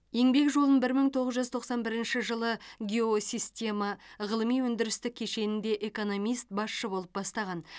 еңбек жолын бір мың тоғыз жүз тоқсан бірінші жылы геосистема ғылыми өндірістік кешенінде экономист басшы болып бастаған